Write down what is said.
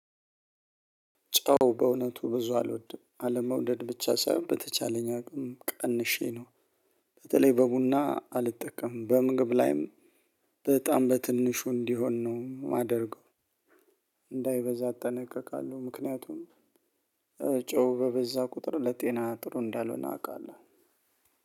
ጨው በእውነቱ ብዙ አልወድም አለመውደድ ብቻ ሳይሆን በተቻለኝ አቅም ቀንሼ ነው። በተለይ በቡና አልጠቀምም በምግብ ላይም በጣም በትንሹ እንዲሆን ነው የማደርገው። እንዳይበዛ አጠነቀቃለሁ ምክንያቱም ጨው በበዛ ቁጥር ለጤና ጥሩ እንዳልሆነ አውቃለሁ።